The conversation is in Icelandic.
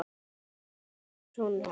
Það var Oddur sonur hans.